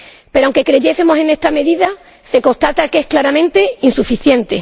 Pero, aunque creyésemos en esta medida, se constata que es claramente insuficiente.